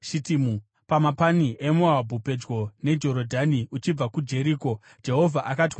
Pamapani eMoabhu pedyo neJorodhani uchibva kuJeriko, Jehovha akati kuna Mozisi,